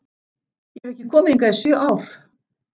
Ég hef ekki komið hingað í sjö ár